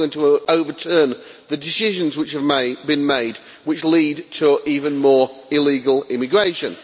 It is not going to overturn the decisions which have been made which lead to even more illegal immigration.